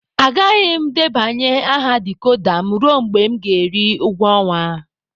Agaghị m debanye aha decoder m ruo mgbe m ga-eri ụgwọ ọnwa.